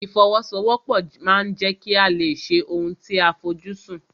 Ìfọwọ́sowọ́pọ̀ ma ń jẹ́ kí a lè ṣe ohun tí a fojú sùn.